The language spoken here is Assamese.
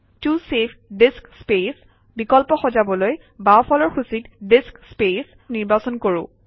ত চেভ ডিস্ক স্পেচ বিকল্প সজাবলৈ বাওঁফালৰ সূচীত ডিস্ক স্পেচ নিৰ্বাচন কৰোঁ